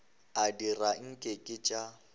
a dira nke ke tša